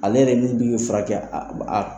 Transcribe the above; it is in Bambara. Ale yɛrɛ min furakɛ